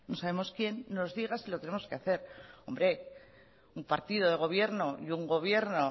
sabemos quién nos diga si lo tenemos que hacer hombre un partido de gobierno y un gobierno